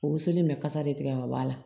O woson in bɛ kasa de tigɛ ka bɔ a la